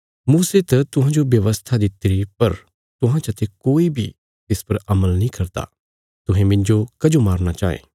मूसे त तुहांजो व्यवस्था दित्तिरी पर तुहां चाते कोई बी तिस पर अमल नीं करदा तुहें मिन्जो कजो मारना चांये